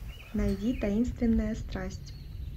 найди таинственная страсть